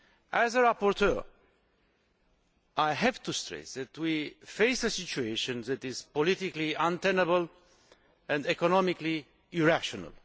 As rapporteur I have to stress that we face a situation that is politically untenable and economically irrational.